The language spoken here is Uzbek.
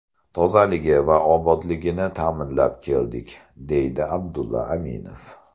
Tozaligi va obodligini ta’minlab keldik”, deydi Abdulla Aminov.